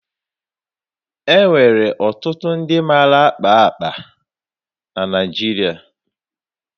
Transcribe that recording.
E nwere ọtụtụ ndị mara akpa akpa na Naịjiria.